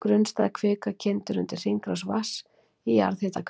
Grunnstæð kvika kyndir undir hringrás vatns í jarðhitakerfi.